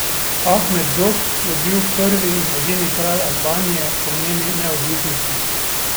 Ahmet Zog je bil prvi in edini kralj Albanije po njeni neodvisnosti.